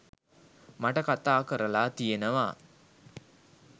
මට කතා කරලා තියනවා.